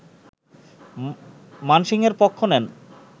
মানসিংহের পক্ষ নেন